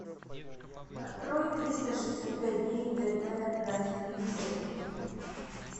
открой триста шестьдесят пять дней тв на телевизоре